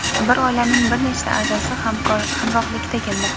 bir oilaning bir nechta a’zosi hamrohlikda kelmoqda.